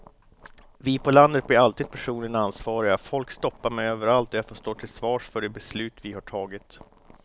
Vi på landet blir alltid personligen ansvariga, folk stoppar mig överallt och jag får stå till svars för de beslut vi har tagit.